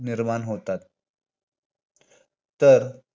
निर्माण होतात. तर